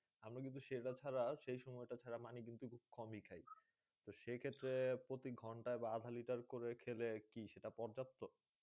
আমরা কিন্তু সেটা ছাড়া সেই সময় টা ছাড়া পানি কিন্তু কমই খাই। তো সেক্ষেত্রে প্রতি ঘণ্টায় বা আধা লিটার করে খেলে কি সেটা পর্যাপ্ত?